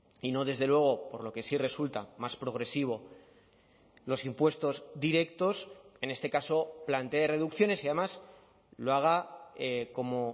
y no desde luego por lo que sí resulta más progresivo los impuestos directos en este caso plantee reducciones y además lo haga como